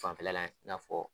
Fanfɛla lajɛ i n'a fɔ